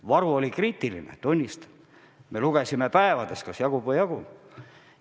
Varu oli kriitiline, tunnistan, me lugesime päevades, kas jagub või ei jagu.